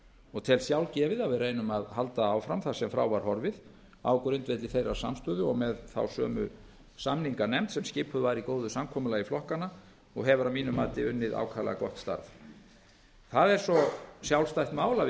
og tel sjálfgefið að við reynum að halda áfram þar sem frá var horfið á grundvelli þeirrar samstöðu og með þá sömu samninganefnd sem skipuð var í góðu samkomulagi flokkanna og hefur að mínu mati unnið ákaflega gott starf það er svo sjálfstætt mál að við